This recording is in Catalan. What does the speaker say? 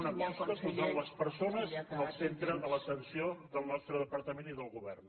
una aposta per posar les persones al centre de l’aten·ció del nostre departament i del govern